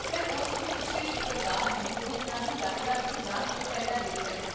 ਮੈਂ ਉਸ ਨੂੰ ਪਿਛਲੇ ਸ਼ੁੱਕਰਵਾਰ ਨੂੰ ਦੋ ਦਿਨਾਂ ਦੀ ਯਾਤਰਾ 'ਤੇ ਜਾਣ ਤੋਂ ਪਹਿਲਾਂ ਦੇਖਿਆ ਸੀ